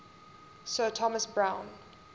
sir thomas browne